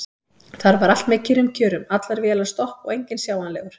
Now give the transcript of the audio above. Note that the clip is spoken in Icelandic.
Þar var allt með kyrrum kjörum: allar vélar stopp og enginn sjáanlegur.